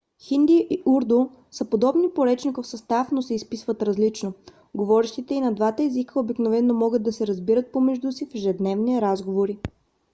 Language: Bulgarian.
хинди и урду са подобни по речников състав но се изписват различно; говорещите и на двата езика обикновено могат да се разбират помежду си в ежедневни разговори